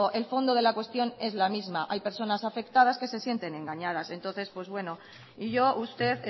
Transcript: el fondo de la cuestión es la misma hay personas afectadas que se sientes engañadas entonces pues bueno y yo usted